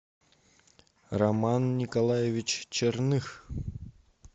роман николаевич черных